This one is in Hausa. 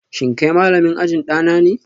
Shin kai malamin ajin dana ne?